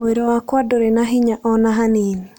Mwĩrĩ wakwa ndũrĩ na hinya o na hanini.